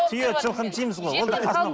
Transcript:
түйе жылқыны жейміз ғой